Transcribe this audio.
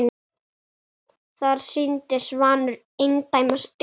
Þar sýndi Svanur eindæma styrk.